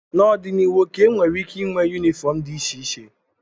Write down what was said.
N'ọdịnihu, Okey nwere ike ịnwe yunifọọm dị iche iche.